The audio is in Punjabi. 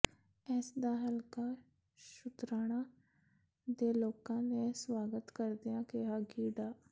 ਇਸ ਦਾ ਹਲਕਾ ਸ਼ੁਤਰਾਣਾ ਦੇ ਲੋਕਾਂ ਨੇ ਸਵਾਗਤ ਕਰਦਿਆਂ ਕਿਹਾ ਕਿ ਡਾ